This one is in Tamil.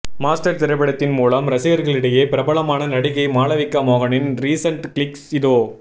மாஸ்டர் திரைப்படத்தின் மூலம் ரசிகர்களிடையே பிரபலமான நடிகை மாளவிகா மோகனின் ரீசன்ட் கிளிக்ஸ் இதோ